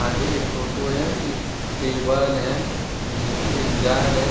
आगे एक टोटो है एक टेबल है इसमें एक जार है।